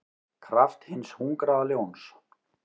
kraft hins hungraða ljóns.